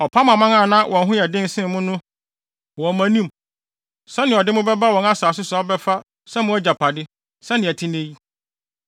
Ɔpam aman a na wɔn ho yɛ den sen mo no wɔ mo anim sɛnea ɔde mo bɛba wɔn asase so abɛfa sɛ mo agyapade, sɛnea ɛte nnɛ yi.